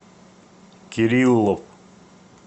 кириллов